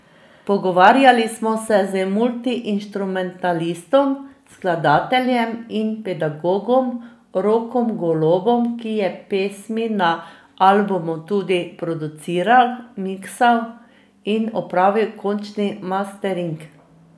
Pogovarjali smo se z multiinštrumentalistom, skladateljem in pedagogom Rokom Golobom, ki je pesmi na albumu tudi produciral, miksal in opravil končni mastering.